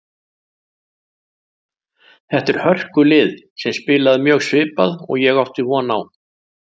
Þetta er hörkulið sem spilaði mjög svipað og ég átti von á.